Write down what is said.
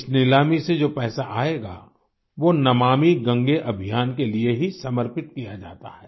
इस नीलामी से जो पैसा आएगा वो नमामि गंगे अभियान के लिये ही समर्पित किया जाता है